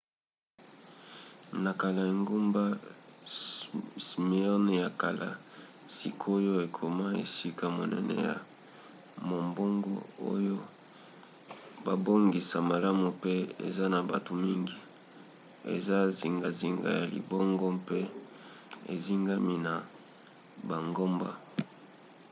na kala engumba smyrne ya kala sikoyo ekoma esika monene ya mombongo oyo babongisa malamu pe eza na bato mingi eza zingazinga ya libongo mpe ezingami na bangomba